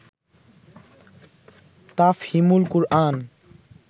Tafhimul Quran